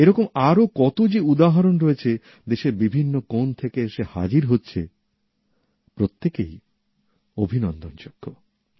এরকম আরও কতো যে উদাহরণ রয়েছে দেশের বিভিন্ন কোন থেকে এসে হাজির হচ্ছে প্রত্যেকেই অভিনন্দন যোগ্য